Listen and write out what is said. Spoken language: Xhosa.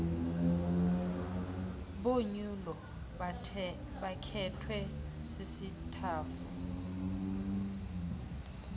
bonyulo bakhethwe sisitafu